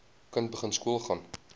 kind begin skoolgaan